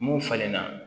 Mun falenna